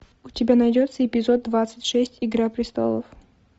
у тебя найдется эпизод двадцать шесть игра престолов